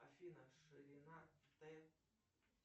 афина ширина тэ